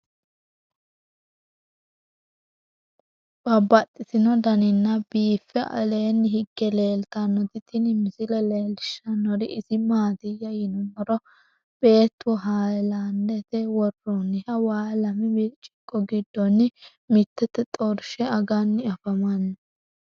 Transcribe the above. Babaxxittinno daninni biiffe aleenni hige leelittannotti tinni misile lelishshanori isi maattiya yinummoro beettu haalaandette woroonniha waa lame biricciqo giddonni mittete xorishshe aganni afammanno